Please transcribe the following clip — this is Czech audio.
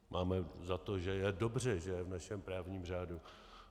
Máme za to, že je dobře, že je v našem právním řádu.